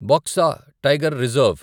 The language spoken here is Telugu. Baksa tiger reserve